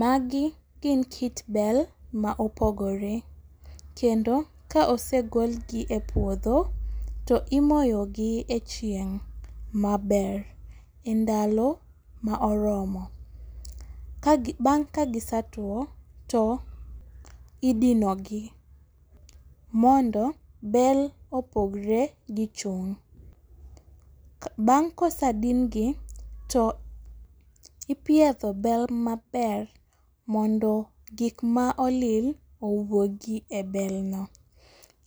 Magi gin kit bel ma opogore. Kendo ka osegol gi e puodho to imoyo gi e chieng' maber. Endalo ma oromo. Bang' kagi setuo to idino gi. Mondo bel opogre gi chung'. Bang' kosedin gi to ipiedho bel maber mondo gik ma olil owuogi e bel no.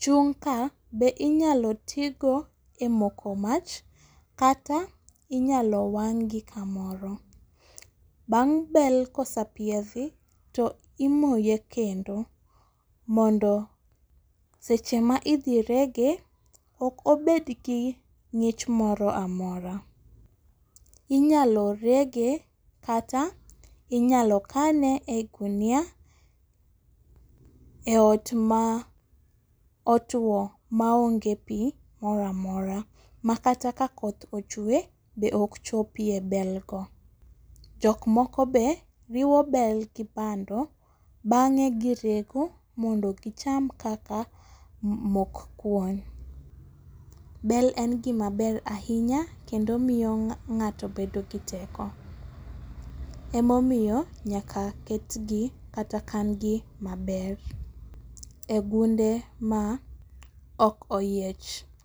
Chung' ka be inyalo ti go e moko mach kata inyalo wang' gi kamoro. Bang' bel kosepiedhi, to imoye kendo. Mondo seche ma idhi rege ok obed gi ng'ich moro amora. Inyalo rege kata inyalo kane e gunia e ot ma otuo ma onge pi moro amora. Makata ka koth ochwe be ok chopie bel go. Jok moko be riwo bel gi bando bang'e girego mondo gicham kaka mok kuon. Bel en gima ber ahinya kendo miyo ng'ato bedo gi teko. Emomiyo nyaka ket gi kata kan gi maber. E gunde ma ok oyiech.